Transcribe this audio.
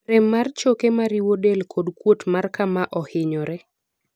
rem mar choke mariwo del kod kuot mar kama ohinyore